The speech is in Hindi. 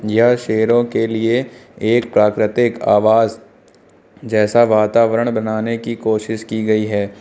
यह शेरों के लिए एक प्राकृतिक आवास जैसा वातावरण बनाने की कोशिश की गई है।